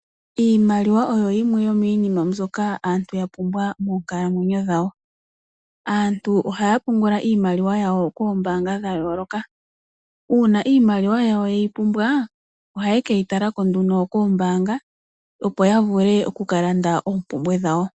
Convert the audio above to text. Iimaliwa oyo yimwe yo miinima mbyoka aantu ya pumbwa moonkalamwenyo dhawo, aantu oha ya pungula iimaliwa yawo koombanga dha yooloka. Uuna iimaliwa yawo ye yi pumbwa oha ye ke yi talako nduno koombanga opo ya vule oku kalanda oompumbwe dhawo.